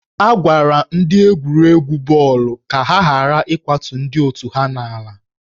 A gwara ndị egwuregwu bọọlụ ka ha ghara ịkwatu ndị otù ha n'ala